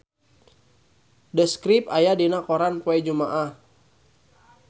The Script aya dina koran poe Jumaah